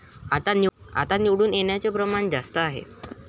आता निवडून येण्याचं प्रमाण जास्त आहे.